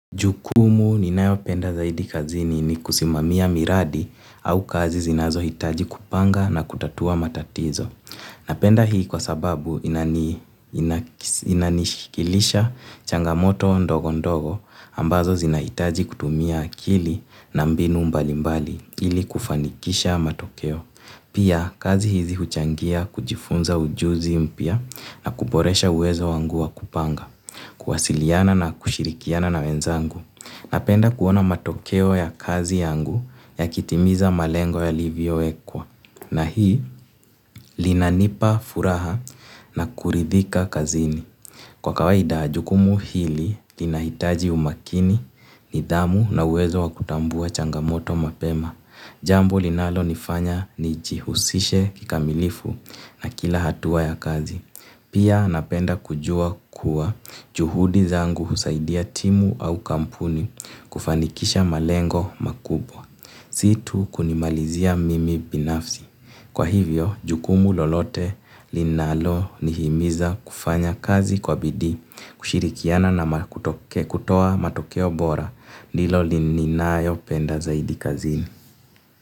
Jukumu ninayopenda zaidi kazini ni kusimamia miradi au kazi zinazohitaji kupanga na kutatua matatizo. Napenda hii kwa sababu inanishikilisha changamoto ndogondogo ambazo zinahitaji kutumia akili na mbinu mbalimbali ili kufanikisha matokeo. Pia kazi hizi huchangia kujifunza ujuzi mpya na kuboresha uwezo wangu wa kupanga. Kuwasiliana na kushirikiana na wenzangu. Napenda kuona matokeo ya kazi yangu yakitimiza malengo yalivyoekwa. Na hii linanipa furaha na kuridhika kazini. Kwa kawaida, jukumu hili linahitaji umakini, nidhamu na uwezo wa kutambua changamoto mapema. Jambo linalonifanya nijihusishe kikamilifu na kila hatua ya kazi. Pia napenda kujua kuwa juhudi zangu husaidia timu au kampuni kufanikisha malengo makubwa. Si tu kunimalizia mimi binafsi. Kwa hivyo, jukumu lolote linalonihimiza kufanya kazi kwa bidii, kushirikiana na kutoa matokeo bora, ndilo lininayo penda zaidi kazini.